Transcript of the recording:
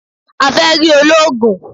A fẹ rí olóògùn